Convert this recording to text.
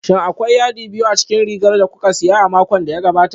Shin akwai yadi biyu a cikin rigar da kuka saya a makon da ya gabata?